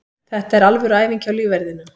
Þetta er alvöru æfing hjá lífverðinum.